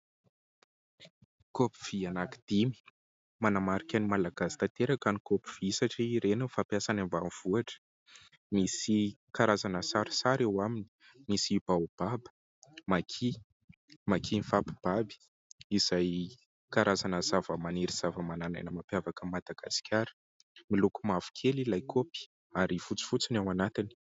Kaopy vy anankidimy. manamarika ny Malagasy tanteraka ny kaopy vy satria ireny no fampiasa any ambanivohitra. Misy karazana sarisary eo aminy : misy baobab, maki, maki mifampibaby izay karazana zavamaniry sy zavamanan'aina mampiavaka an'i Madagasikara. Miloko mavokely ilay kaopy ary fotsifotsy no ao anatiny.